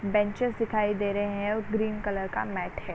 Benches दिखाई दे रहा है और ग्रीन कलर का मेट है।